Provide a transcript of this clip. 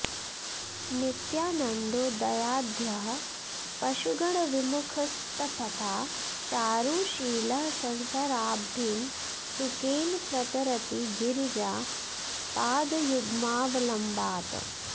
नित्यानन्दो दयाढ्यः पशुगणविमुखस्सत्पथा चारुशीलः संसाराब्धिं सुकेन प्रतरति गिरिजा पादयुग्मावलम्बात्